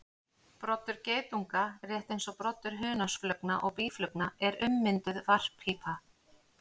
Broddur geitunga, rétt eins og broddur hunangsflugna og býflugna, er ummynduð varppípa.